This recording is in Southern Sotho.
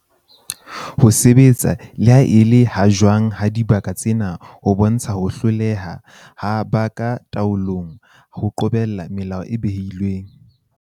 Ho sebetsa le ha e le ha jwang ha dibaka tsena ho bontsha ho hloleha ha ba ka taolong ho qobella melao e behilweng.